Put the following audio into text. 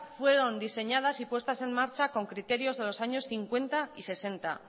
fueron diseñadas y puestas en marcha con criterios de los años cincuenta y sesenta